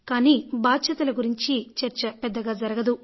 కానీ బాధ్యతల గురించి చర్చ పెద్దగా జరగదు